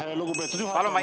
Aitäh, lugupeetud juhataja!